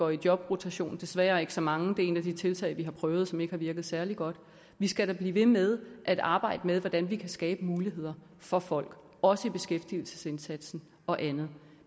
i jobrotation desværre ikke så mange det er et af de tiltag vi har prøvet som ikke har virket særlig godt vi skal da blive ved med at arbejde med hvordan vi kan skabe muligheder for folk også i beskæftigelsesindsatsen og andet